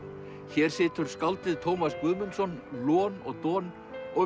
hér situr skáldið Tómas Guðmundsson lon og don og